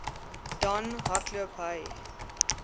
dan hardloop hy